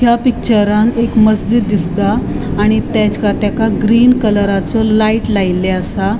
त्या पिक्चरान एक मस्जिद दिसता आणि तेज तेका ग्रीन कलराचो लाइट लायले असा.